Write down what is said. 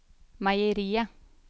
meieriet